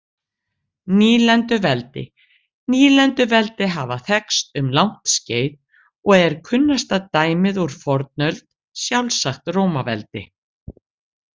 Nýlenduveldi Nýlenduveldi hafa þekkst um langt skeið og er kunnasta dæmið úr fornöld sjálfsagt Rómaveldi.